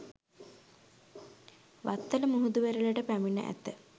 වත්තල මුහුදු වෙරළට පැමිණ ඇත